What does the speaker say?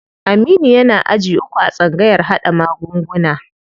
Aminu yana aji uku a tsangayar haɗa magunguna.